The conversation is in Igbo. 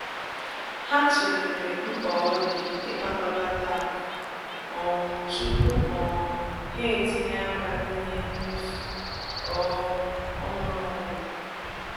Ha tụlere mkpa ọ di ịkpakọlata akụ um tupu um ha etinye aka n'ihe mmefu um ọhụrụ ọbụla.